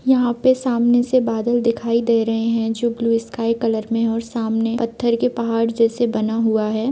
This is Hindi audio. यहाँ पे सामने से बादल दिखाई दे रहे है जो ब्लू स्काई कलर में और सामने पत्थर के पहाड़ जैसे बना हुआ है।